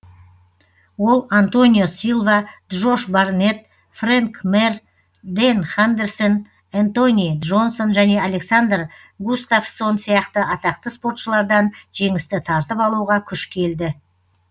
ол антонио силва джош барнетт фрэнк мир дэн хандерсон энтони джонсон және александр густафссон сияқты атақты спортшылардан жеңісті тартып алуға күш келді